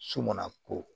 So mana ko